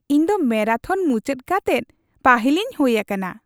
ᱤᱧ ᱫᱚ ᱢᱮᱨᱟᱛᱷᱚᱱ ᱢᱩᱪᱟᱹᱫ ᱠᱟᱛᱮᱫ ᱯᱟᱹᱦᱤᱞᱤᱧ ᱦᱩᱭ ᱟᱠᱟᱱᱟ ᱾